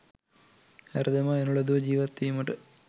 හැර දමා එනු ලදුව ජීවත් විමට